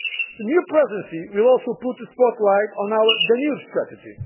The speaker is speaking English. in April. The new Presidency will also put the spotlight on our Danube